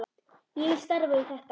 Ég vil starfa við þetta.